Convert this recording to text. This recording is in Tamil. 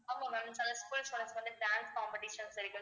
ஆமா ma'am சில school students க்கு வந்து dance competitions இருக்கு